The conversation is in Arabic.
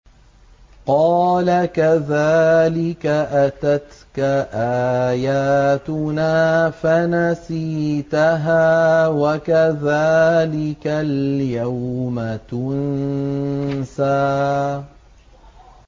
قَالَ كَذَٰلِكَ أَتَتْكَ آيَاتُنَا فَنَسِيتَهَا ۖ وَكَذَٰلِكَ الْيَوْمَ تُنسَىٰ